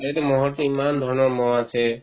ম'হৰ তো ইমান ধৰণৰ ম'হ আছে